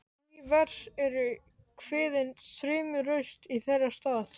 Ný vers eru kveðin þrumuraust í þeirra stað.